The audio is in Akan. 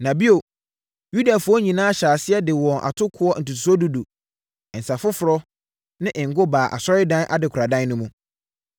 Na bio, Yudafoɔ nyinaa hyɛɛ aseɛ de wɔn atokoɔ ntotosoɔ dudu, nsã foforɔ ne ngo baa Asɔredan no adekoradan no mu.